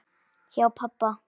Hjá pabba